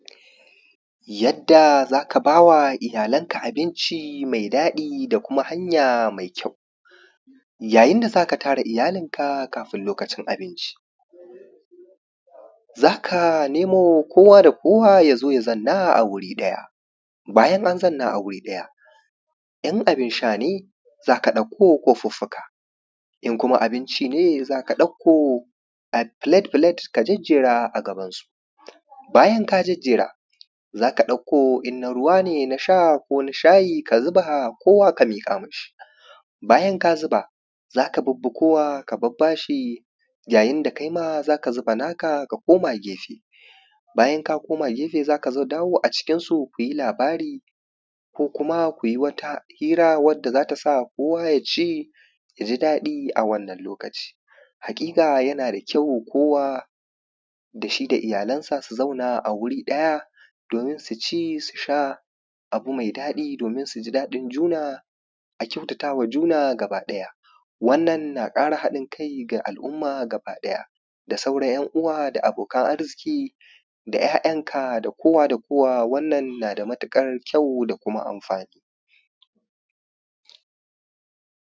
Yadda za ka baa wa iyalanka abinci mai daɗi da kuma hanya mai kyau. yayin da za ka tara iyalinka kafin lokacin abinci za ka nemo kowa da kowa ya zo ya zanna a wuri ɗaya, bayan an zanna a wuri ɗaya in abin sha ne za ka ɗako kofuffuka, in kuma abin ci ne za ɗauko plate plate ka jejjera a gabansu. Bayan ka jejjera za ka ɗauko in na ruwa ne na sha ko na shayi ka zuba koowa ka miƙa ma shi, bayan ka zuba za ka bibbi koowa ka babbaa shi ya yin da kaima za ka zuba naa kaa ka koma gefe, bayan ka koma gefe za ka dawo acikinsu ku yi labari ko kuma ku yi wata hira wadda za ta sa kowa ya ci ya ji daɗi a wannan lokaci. Haƙiƙa yana da kyau koowa da shi da iyalansa su zauna a wuri ɗaya doomin su ci su sha abu mai daɗi doomin su ji daɗin juna a kyautatawa juna gaba ɗaya, wannan naa ƙara haɗin kai ga al’umma gaba ɗaya da sauran 'yan’uwa da abokan arzuƙi da 'ya'yanka da koowa da koowa wannan naa da matuƙar kyau da kuma amfaani